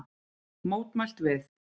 Mótmælt við